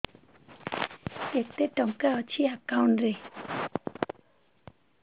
କେତେ ଟଙ୍କା ଅଛି ଏକାଉଣ୍ଟ୍ ରେ